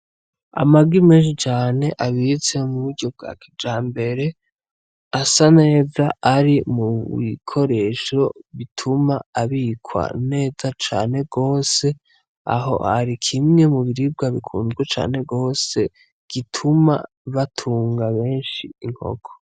Amagi menshi cane abitse mu buryo bwa kijambere. Asa neza ari mu bikoresho bituma abikwa neza cane gose. Aho ari kimwe mu biribwa bikunzwe cane gose, gituma batunga benshi inkoko.